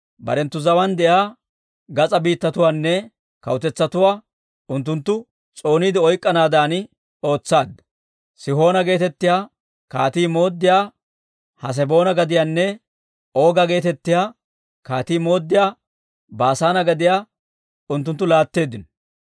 «Barenttu zawaan de'iyaa gas'aa biittatuwaanne kawutetsatuwaa unttunttu s'ooniide oyk'k'anaadan ootsaadda. Sihoona geetettiyaa kaatii mooddiyaa Haseboona gadiyanne Ooga geetettiyaa kaatii mooddiyaa Baasaane gadiyaa unttunttu laatteeddino.